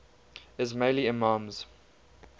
ismaili imams